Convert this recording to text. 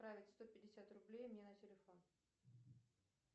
отправить сто пятьдесят рублей мне на телефон